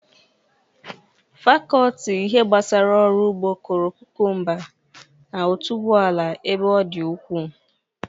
Fakọlti ihe gbasara ọrụ ugbo kụrụ kukumba na otuboala ebe ọ dị ukwu.